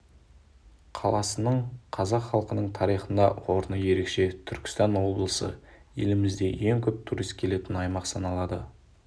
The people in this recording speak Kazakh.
қаласының қазақ халқының тарихында орны ерекше түркістан облысы елімізде ең көп турист келетін аймақ саналады